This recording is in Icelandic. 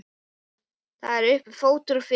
Það er uppi fótur og fit.